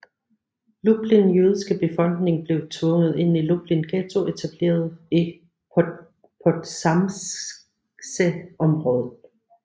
Lublin jødiske befolkning blev tvunget ind i Lublin Ghetto etableret i Podzamcze området